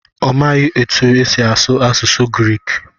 ọ maghị otú e si asụ asụsụ Grik